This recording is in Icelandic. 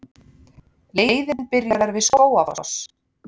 Leiðin byrjar við Skógafoss.